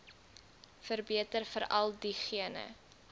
verbeter veral diegene